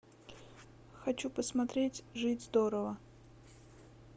хочу посмотреть жить здорово